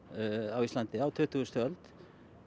á Íslandi á tuttugustu öld